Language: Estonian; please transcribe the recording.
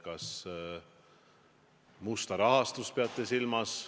Kas te peate silmas musta rahastust?